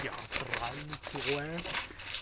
театральный человек